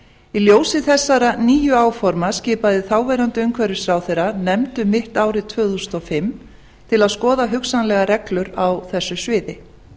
í ljósi þessara nýju áforma skipaði þáv umhverfisráðherra nefnd um mitt ár tvö þúsund og fimm til að skoða hugsanlegar reglur á þessu sviði